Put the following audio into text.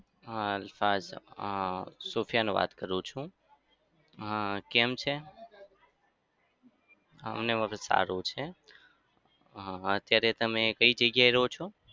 હા હા સોફિયાન વાત કરું છું. હા કેમ છે? અમને બધું સારું જ છે. હા અત્યારે તમે કઈ જગ્યાએ રહો છો?